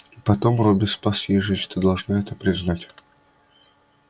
и потом робби спас ей жизнь ты должна это признать